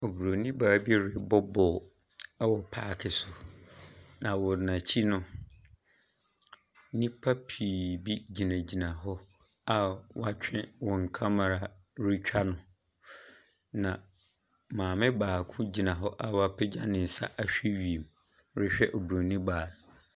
Oburoni baa bi rebɔ ball wɔ park so. Na wɔn akyi no, nnipa pii gyinagyina hɔ a wɔatwe wɔn camara retwa no. Na maame gyina hɔ a wapegya ne nsa ahwɛ wiem rehwɛ oburoni baa no.